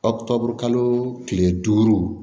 Ɔ tɔbɔ kalo tile duuru